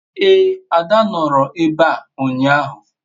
ee, ada noro ebe a unyahu